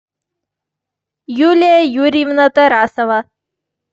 юлия юрьевна тарасова